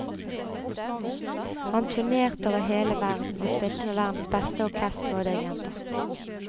Han turnerte over hele verden, og spilte med verdens beste orkestre og dirigenter.